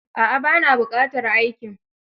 A'a, ba na buƙatar aikin.